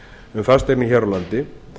um fasteignir hér á landi